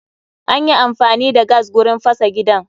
Anyi amfani da gas gurin fasa gidan